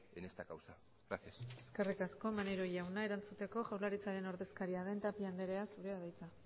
en esta causa gracias eskerrik asko maneiro jauna erantzuteko jaurlaritzaren ordezkaria den tapia anderea zurea da hitza